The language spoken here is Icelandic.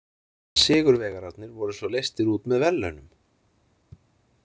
Sigurvegararnir voru svo leystir út með verðlaunum!